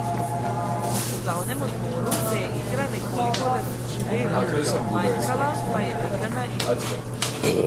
Po glavnem odmoru se je igra nekoliko razživela, manjkala pa je pika na i.